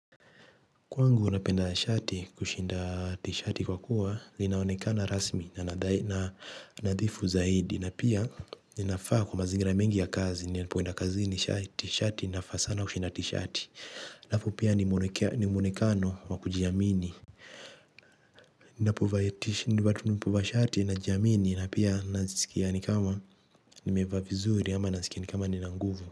Kwangu napenda shati kushinda t-shirt kwa kuwa linaonekana rasmi na nadhifu zaidi na pia inafaa kwa mazingira mengi ya kazi, ninapoenda kazini shati inafaa sana kushinda t-shirt na pia ni mwonekano wa kujiamini. Ninapovaa shati najiamini na pia nasikia ni kama nimevaa vizuri ama nasikia ni kama nina nguvu.